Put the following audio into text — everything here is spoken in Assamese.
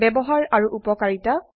ব্যবহাৰ আৰু উপকাৰিতা